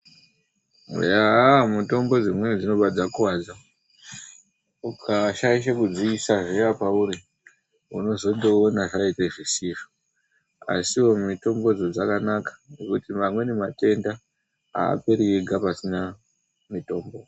Mitombo dzimweni dzinobva dzakuwadza. Ukashaishe kudziisa zviya pauri, unozondoona zvaite zvisizvo. Asiwo mitombodzo dzakanaka, ngekuti amweni matenda aaperi ega pasina mitombo.